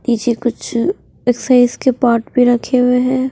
नीचे कुछ अ अ एक्सरसाइज पार्ट भी रखे हुए हैं।